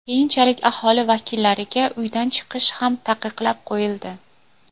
Keyinchalik aholi vakillariga uydan chiqish ham taqiqlab qo‘yildi.